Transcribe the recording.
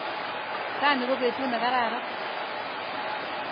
Raini ko petut ne kararan.